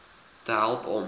te help om